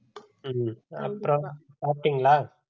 ஹம் அப்புறம் சாப்டீங்களா